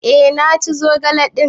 Eh na ci zogale din.